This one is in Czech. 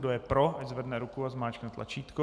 Kdo je pro, ať zvedne ruku a zmáčkne tlačítko.